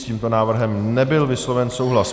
S tímto návrhem nebyl vysloven souhlas.